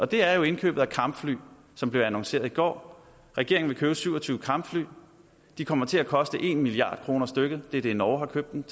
det er jo indkøbet af kampfly som blev annonceret i går regeringen vil købe syv og tyve kampfly de kommer til at koste en milliard kroner stykket det er det norge har købt dem